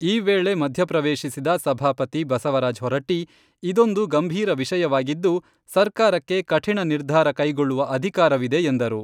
ಈ ವೇಳೆ ಮಧ್ಯಪ್ರವೇಶಿಸಿದ ಸಭಾಪತಿ ಬಸವರಾಜ್ ಹೊರಟ್ಟಿ, ಇದೊಂದು ಗಂಭೀರ ವಿಷಯವಾಗಿದ್ದು, ಸರ್ಕಾರಕ್ಕೆ ಕಠಿಣ ನಿರ್ಧಾರ ಕೈಗೊಳ್ಳುವ ಅಧಿಕಾರವಿದೆ ಎಂದರು.